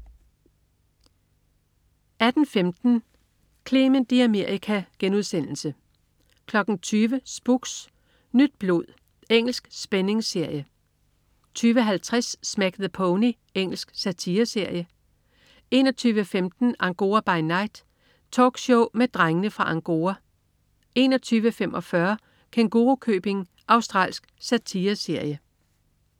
18.15 Clement i Amerika* 20.00 Spooks: Nyt blod. Engelsk spændingsserie 20.50 Smack the Pony. Engelsk satireserie 21.15 Angora by Night. Talkshow med Drengene fra Angora 21.45 Kængurukøbing. Australsk satireserie